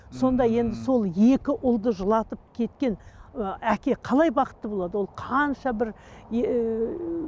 сонда енді сол екі ұлды жылатып кеткен ы әке қалай бақытты болады ол қанша бір ііі